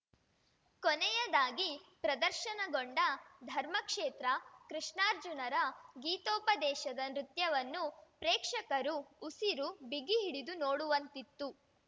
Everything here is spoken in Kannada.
ಕೊನೆಯದಾಗಿ ಪ್ರದರ್ಶನಗೊಂಡ ಧರ್ಮಕ್ಷೇತ್ರ ಕೃಷ್ಣಾರ್ಜುನರ ಗೀತೋಪದೇಶದ ನೃತ್ಯವನ್ನು ಪ್ರೇಕ್ಷಕರು ಉಸಿರು ಬಿಗಿ ಹಿಡಿದು ನೋಡುವಂತಿತ್ತು